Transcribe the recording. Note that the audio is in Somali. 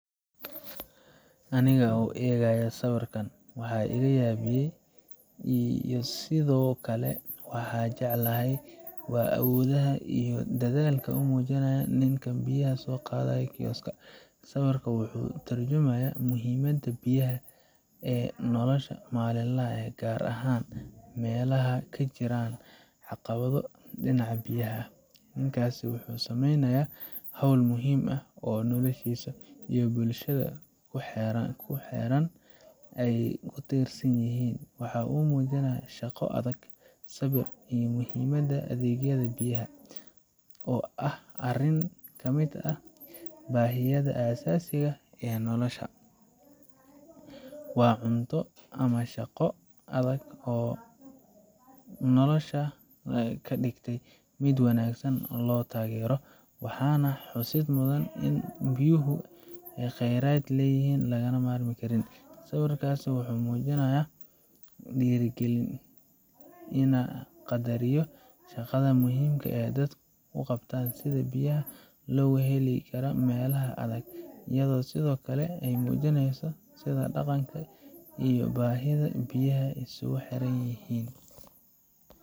Aniga oo eegaya sawirkan, waxa iga yaabiyay iyo sidoo kale waxa aan jeclahay waa awoodda iyo dadaalka uu muujinayo ninka biyaha ka soo qaadaya kisok. Sawirkan wuxuu ka tarjumayaa muhiimadda biyaha ee nolosha maalinlaha ah, gaar ahaan meelaha ay ka jiraan caqabado dhinaca biyaha ah. Ninkaasi wuxuu sameynayaa hawl muhiim ah oo noloshiisa iyo bulshada ku xeeran ay ku tiirsan yihiin. Waxa uu muujinayaa shaqo adag, sabir, iyo muhiimadda adeegyada biyaha, oo ah arrin ka mid ah baahiyaha aasaasiga ah ee nolosha. Waa cunto ama shaqo adag oo nolosha ka dhigtay mid wanaagsan oo la taageero, waxaana xusid mudan in biyuhu yihiin kheyraad aan laga maarmin. Sawirkaasi wuxuu mujinayaa dhiirigalin inaan qadariyo shaqada muhiimka ah ee dadku u qabtaan sidii biyaha loogu heli lahaa meelaha adag, iyadoo sidoo kale ay muujinayso sida dhaqanka iyo baahida biyaha ay iskugu xiran yihiin.